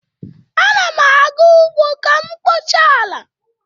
Ana m aga ugbo ka m kpochaa ala